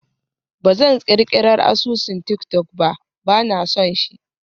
Ba zan ƙirƙirar asusun tik-tok ba, ba na son shi.